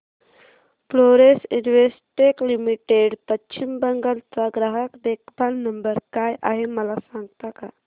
Florence Investec limited Paschim Bangal चा ग्राहक देखभाल नंबर काय आहे मला सांगता का